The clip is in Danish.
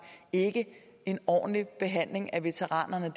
ikke en ordentlig behandling af veteranerne